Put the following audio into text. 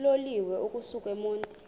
uloliwe ukusuk emontini